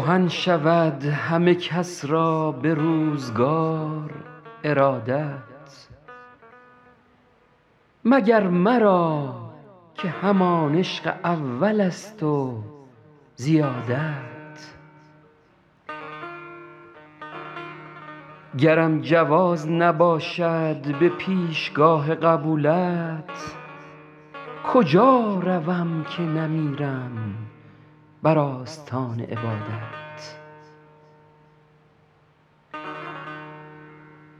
کهن شود همه کس را به روزگار ارادت مگر مرا که همان عشق اولست و زیادت گرم جواز نباشد به پیشگاه قبولت کجا روم که نمیرم بر آستان عبادت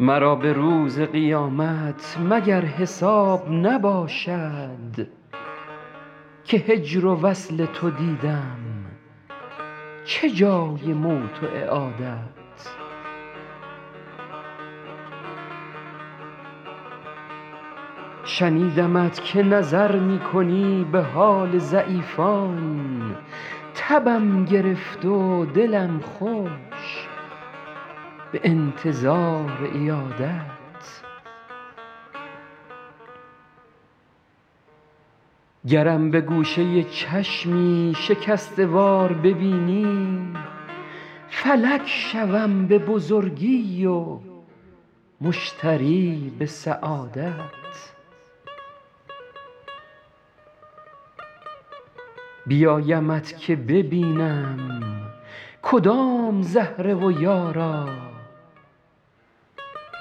مرا به روز قیامت مگر حساب نباشد که هجر و وصل تو دیدم چه جای موت و اعادت شنیدمت که نظر می کنی به حال ضعیفان تبم گرفت و دلم خوش به انتظار عیادت گرم به گوشه چشمی شکسته وار ببینی فلک شوم به بزرگی و مشتری به سعادت بیایمت که ببینم کدام زهره و یارا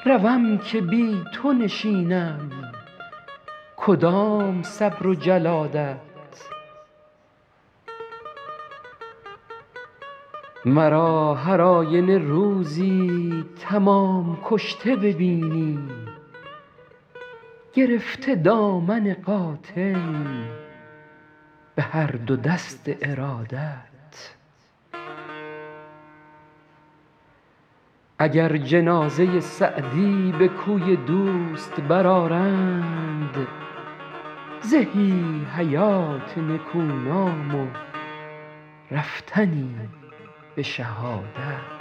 روم که بی تو نشینم کدام صبر و جلادت مرا هر آینه روزی تمام کشته ببینی گرفته دامن قاتل به هر دو دست ارادت اگر جنازه سعدی به کوی دوست برآرند زهی حیات نکونام و رفتنی به شهادت